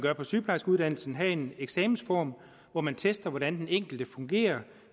er på sygeplejerskeuddannelsen have en eksamensform hvor man tester hvordan den enkelte fungerer